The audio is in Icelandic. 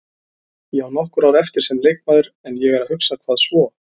Ég á nokkur ár eftir sem leikmaður en ég er að hugsa, hvað svo?